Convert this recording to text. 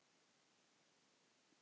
Ekkert minna en það!